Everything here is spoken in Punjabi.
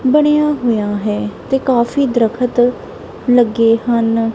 ਬਣਿਆ ਹੋਇਆ ਹੈ ਤੇ ਕਾਫੀ ਦਰਖਤ ਲੱਗੇ ਹਨ।